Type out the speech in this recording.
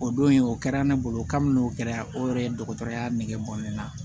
O don in o kɛra ne bolo kabini o kɛra o yɛrɛ ye dɔgɔtɔrɔya nege bɔ ne la